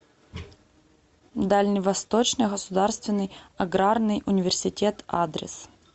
дальневосточный государственный аграрный университет адрес